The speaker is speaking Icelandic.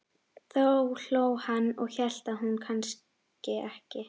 Þá hló hann og hélt það nú kannski ekki.